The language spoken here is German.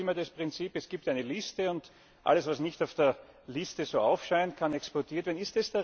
Wir haben bis jetzt immer das Prinzip Es gibt eine Liste, und alles, was nicht auf der Liste aufscheint, kann exportiert werden.